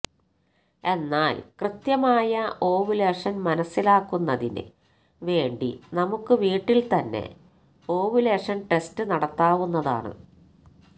എന്നാൽ കൃത്യമായ ഓവുലേഷന് മനസ്സിലാക്കുന്നതിന് വേണ്ടി നമുക്ക് വീട്ടിൽ തന്നെ ഓവുലേഷൻ ടെസ്റ്റ് നടത്താവുന്നതാണ്